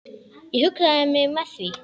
Ég huggaði mig með því.